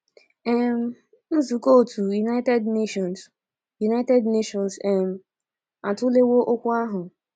um Nzukọ otu United Nations United Nations um atụlewo okwu ahụ.